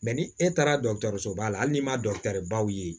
ni e taara dɔgɔtɔrɔsoba la hali n'i ma baw ye